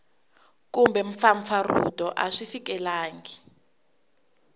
kumbe mpfampfarhuto a swi fikelelangi